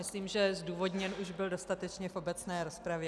Myslím, že zdůvodněn už byl dostatečně v obecné rozpravě.